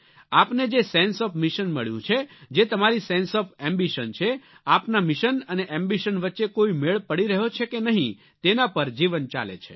આપને જે sense of mission મળ્યું છે જે તમારીસેન્સે ઓએફ એમ્બિશન છે આપના મિશન અને એમ્બિશન વચ્ચે કોઈ મેળ પડી રહ્યો છે કે નહીં તેના પર જીવન ચાલે છે